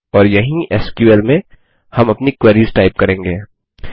और यहीं एसक्यूएल में हम अपनी क्वेरीस टाइप करेंगे